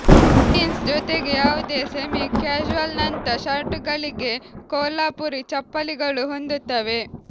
jeans ಜೊತೆಗೆ ಯಾವುದೇ semi ಕ್ಯಾಶುವಲ್ನಂಥ ಷರ್ಟ್ಗಳಿಗೆ ಕೊಲ್ಹಾಪುರಿ ಚಪ್ಪಲಿಗಳು ಹೊಂದುತ್ತವೆ